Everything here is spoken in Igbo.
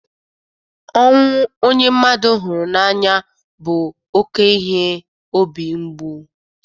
Ọnwụ onye mmadụ hụrụ n'anya bụ oke ihe obi ngbu.